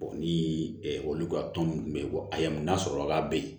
ni olu ka tɔn ninnu bɛ yen a y'a mun n'a sɔrɔ a ka be yen